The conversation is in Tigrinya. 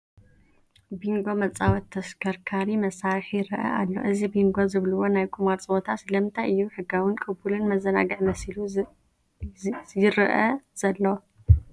ቢንጐ መፃወቲ ተሽከርካሪ መሳርሒ ይርአ ኣሎ፡፡ እዚ ቢንጐ ዝብልዎ ናይ ቁማር ፀወታ ስለምንታይ እዩ ሕጋውን ቅቡልን መዘናግዒ መሲሉ ይዝአ ዘሎ?